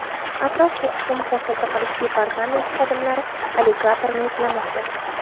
Atrof-muhitni muhofaza qilish departamenti xodimlari alligatorni izlamoqda.